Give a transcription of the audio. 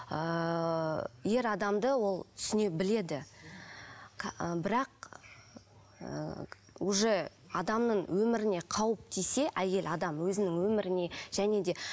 ыыы ер адамды ол түсіне біледі бірақ ыыы уже адамның өміріне қауіп тисе әйел адам өзінің өміріне және де